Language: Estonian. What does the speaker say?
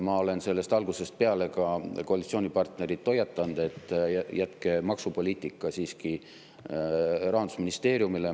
Ma olen algusest peale ka koalitsioonipartnerit hoiatanud, et jätke maksupoliitika siiski Rahandusministeeriumile.